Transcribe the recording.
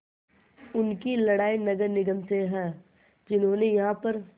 उनकी लड़ाई नगर निगम से है जिन्होंने यहाँ पर